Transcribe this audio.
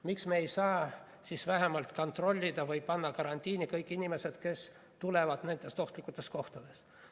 Miks me ei saa siis vähemalt kontrollida või panna karantiini kõik inimesed, kes tulevad nendest ohtlikutest kohtades?